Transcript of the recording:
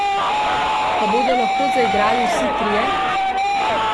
Pa bodo lahko zaigrali vsi trije?